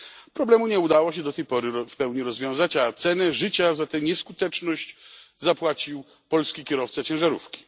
Problemu nie udało się do tej pory w pełni rozwiązać, a cenę życia za tę nieskuteczność zapłacił polski kierowca ciężarówki.